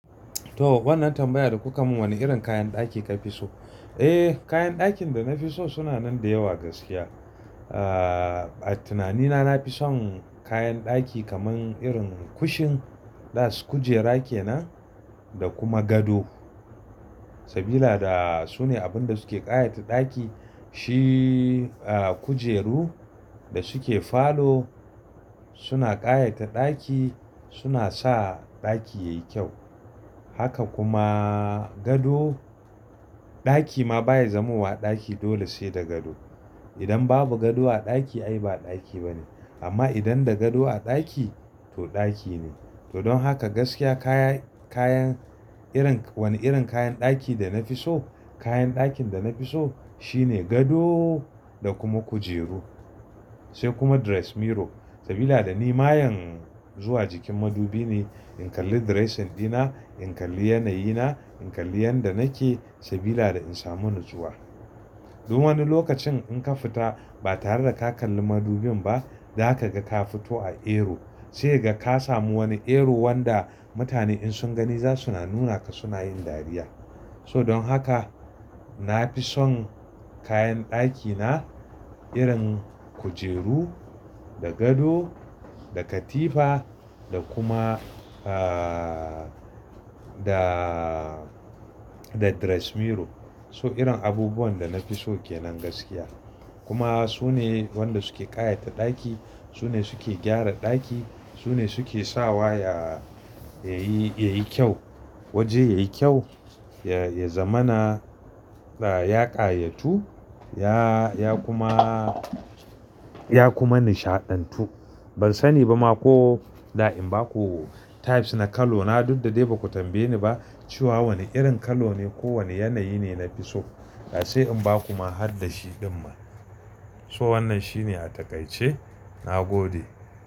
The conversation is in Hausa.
To wannan tambayar da kuka mun wane irin kayan ɗaki ka fi so? Eh kayan ɗakin da na fi so suna nan da yawa gaskiya. Ah a tunanina nafi son kayan ɗaki kaman irin kushin da kujera kenan da kuma gado. Sabila da sune abinda suke ƙayata ɗaki shi ah kujeru da suke falo suna ƙayata ɗaki suna sa ɗaki yayi kyau. Haka kuma gado, ɗaki ma baya zamuwa ɗaki dole sai da gado. Idan babu gado a ɗaki ai ba ɗaki bane amma idan da gado a ɗaki to ɗaki ne. To don haka gaskiya kaya-kayan irin wane irin kayan ɗaki da na fi so kayan ɗakin da na fi so shine gado da kuma kujeru sai kuma dress mirror sabila da ni mayen zuwa jikin madubi ne in kalli dress din ina, in kalli yanayi na, in kalli yanda nake sabila da in samu nazuwa. Zo wani lokacin in ka fita ba tare da ka kalli madubin ba zaka ga ka fito a error sai ka samu wani error wanda mutane in sun gani zasu na nuna ka suna yin dariya. So don haka nafi son kayan ɗaki na irin kujeru da gado da katifa da kuma ah da da dress mirror. So irin abubuwan da nafi so kenan gaskiya kuma sune wanda suke ƙayata ɗaki, sune suke gyara ɗaki, sune suke sawa ya-yayi-yayi kyau. Waje yayi kyau ya-ya zamana ya-yaƙayatu, ya-ya kuma ya kuma nishaɗantu. Ban sani ba ma ko da in baku types na kalona duk da dai baku tambaye ni ba cewa wane irin kalone ko wane yanayi ne na fi so. Da sai in baku ma haddashi din ma. So wannan shine a takaice na gode.